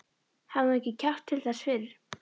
Hafði hún ekki kjark til þess fyrr?